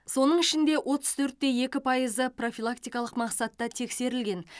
соның ішінде отыз төрт те екі пайызы профилактикалық мақсатта тексерілген